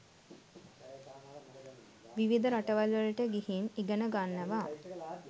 විවිධ රටවල්වලට ගිහින් ඉගෙන ගන්නවා.